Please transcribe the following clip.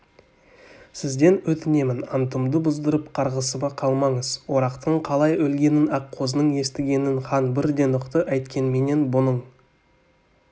сізден өтінемін антымды бұздырып қарғысыма қалмаңыз орақтың қалай өлгенін аққозының естігенін хан бірден ұқты әйткенменен бұның